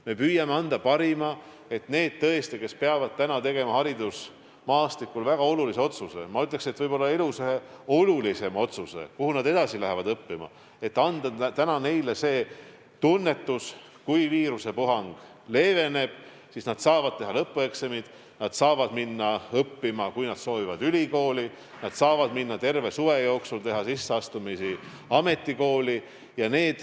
Me püüame anda oma parima, et tõesti anda neile, kes peavad tegema haridusmaastikul väga olulise otsuse – ma ütleks, et võib-olla ühe elu olulisema otsuse –, kuhu minna edasi õppima, selle tunnetuse, et kui viirusepuhang leeveneb, siis nad saavad teha lõpueksamid ja minna õppima, kui nad soovivad, ülikooli, ja nad saavad terve suve jooksul teha sisseastumisi ametikooli.